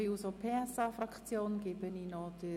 Wir kommen zu den Einzelsprechenden.